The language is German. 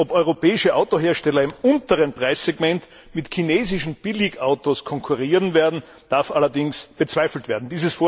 dass europäische Autohersteller im unteren Preissegment mit chinesischen Billigautos konkurrieren werden, darf allerdings bezweifelt werden.